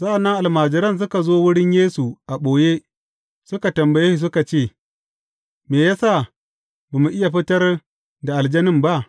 Sa’an nan almajiran suka zo wurin Yesu a ɓoye suka tambaye shi suka ce, Me ya sa ba mu iya fitar da aljanin ba?